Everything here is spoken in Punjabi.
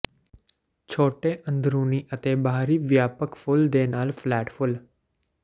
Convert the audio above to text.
ਛੋਟੇ ਅੰਦਰੂਨੀ ਅਤੇ ਬਾਹਰੀ ਵਿਆਪਕ ਫੁੱਲ ਦੇ ਨਾਲ ਫਲੈਟ ਫੁੱਲ